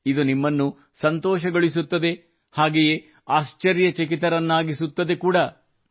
ಇದು ನಿಮ್ಮನ್ನು ಸಂತೋಷಗೊಳಿಸುತ್ತದೆ ಹಾಗೆಯೇ ಆಶ್ಚರ್ಯಚಕಿತರನ್ನಾಗಿಸುತ್ತದೆ ಕೂಡಾ